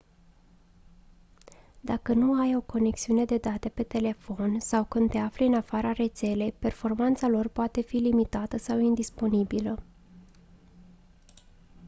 dacă nu ai o conexiune de date pe telefon sau când te afli în afara rețelei performanța lor poate fi limitată sau indisponibilă